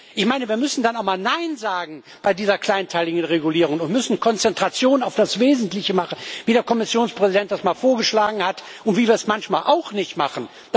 mit. Ich meine, wir müssen dann auch mal bei dieser kleinteiligen Regulierung nein sagen und müssen Konzentration auf das Wesentliche machen, wie der Kommissionspräsident das mal vorgeschlagen hat und wie wir es manchmal auch nicht machen.